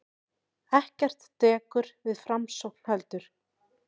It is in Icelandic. Ekkert dekur við framsókn heldur.